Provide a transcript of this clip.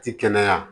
Ti kɛnɛya